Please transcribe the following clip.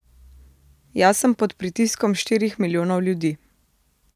Jaz sem pod pritiskom štirih milijonov ljudi.